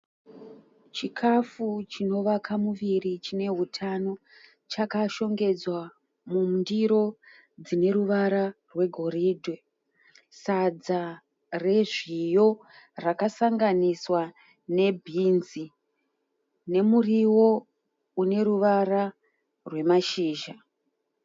Chikafu chinovaka muviri chine hutano chakashongedzwa mundiro dzine ruvara rwegoridhe. Sadza rezviyo rakasanganiswa nebhinzi, nemuriwo une ruvara rwemashizha